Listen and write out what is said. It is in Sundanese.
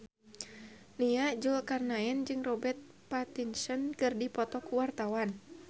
Nia Zulkarnaen jeung Robert Pattinson keur dipoto ku wartawan